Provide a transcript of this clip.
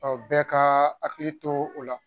Ɔ bɛɛ ka hakili to o la